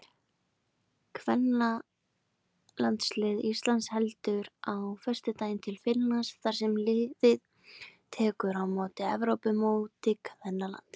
Kvennalandslið Íslands heldur á föstudaginn til Finnlands þar sem liðið tekur þátt í Evrópumóti kvennalandsliða.